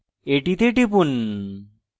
এটিতে টিপুন